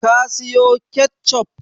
Ka siyo ketchup?